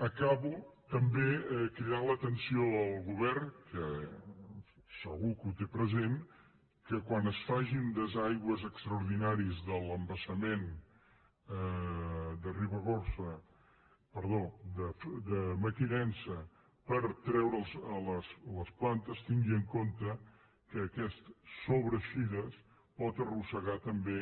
acabo també cridant l’atenció al govern que segur que ho té present que quan es facin desaigües extraordinaris de l’embassament de mequinensa per treure’ls les plantes tingui en compte que aquesta sobreeixida pot arrossegar també